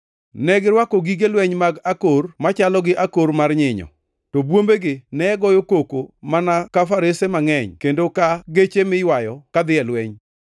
Negirwako gige lweny mag akor machalo gi akor mar nyinyo, to bwombegi ne goyo koko mana ka farese mangʼeny kendo ka geche miywayo kadhi e lweny.